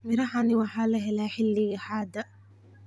Mirahani waxaa lahelaa xilliga hadda.